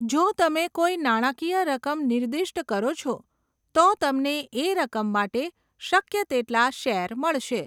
જો તમે કોઈ નાણાકીય રકમ નિર્દિષ્ટ કરો છો, તો તમને એ રકમ માટે શક્ય તેટલા શેર મળશે.